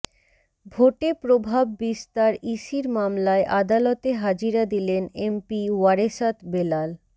ভোটে প্রভাব বিস্তারইসির মামলায় আদালতে হাজিরা দিলেন এমপি ওয়ারেসাত বেলাল